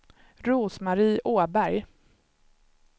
Rose-Marie Åberg